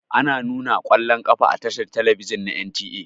Ana nuna ƙwallon ƙafa a tashar talabijin na NTA.